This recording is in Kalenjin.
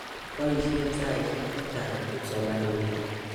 Poisyen saisyek che chang' kipsomaninik.